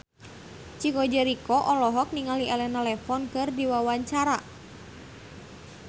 Chico Jericho olohok ningali Elena Levon keur diwawancara